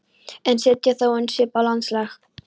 en setja þó enn svip á landslag.